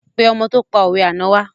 Pé ọmọ tó pa òwe àná wa